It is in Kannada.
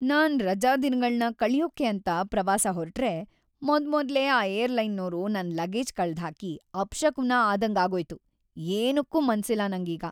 ನಾನ್‌ ರಜಾದಿನಗಳ್ನ ಕಳ್ಯೋಕೆ ಅಂತ ಪ್ರವಾಸ ಹೊರ್ಟ್ರೆ ಮೊದ್ಮೊದ್ಲೇ ಆ ಏರ್‌ಲೈನ್‌ನೋರು ನನ್‌ ಲಗೇಜ್ ಕಳ್ದ್‌ಹಾಕಿ ಅಪಶಕುನ ಆದಂಗಾಗೋಯ್ತು, ಏನಕ್ಕೂ ಮನ್ಸಿಲ್ಲ ನಂಗೀಗ.